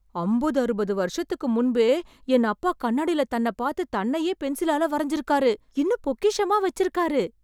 அம்பது ,அறுபது வருஷத்துக்கு முன்பே என் அப்பா கண்ணாடில தன்னப் பார்த்து தன்னையே பென்சிலால வரைஞ்சிருக்காரு.... இன்னும் பொக்கிஷமா வெச்சிருக்காரு...!